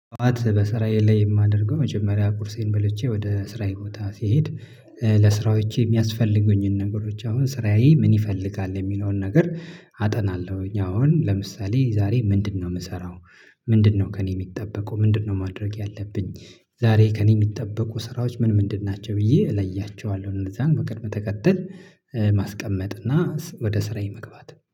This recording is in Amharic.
አት በስራዬ ላይ የማደርገው መጀመሪያ ቁርሴን በልቼ ወደ ስራዬ ቦታ ስሄድ። ለስራዎቼ የሚያስፈልጉኝን ነገሮች አሁን ስራዬ ምን ይፈልጋል የሚለውን ነገር። አጠናለሁኝ አሁን ለምሳሌ ዛሬ ምንድነው የምሰራው? ምንድነው ከእኔ የሚጠበቁ ምንድነው ማድረግ ያለብኝ? ዛሬ ከእኔ የሚጠበቁ ስራዎች ምን ምንድን ናቸው ብዬ እለያቸዋለሁ እንደዛ በቅድመ ተከተል። ማስቀመጥ እና ወደ ስራዬ መግባት